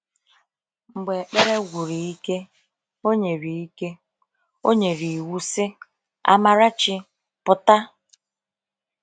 Mgbe ekpere gwuru ike, o nyere ike, o nyere iwu sị: “Amarachi, pụta!”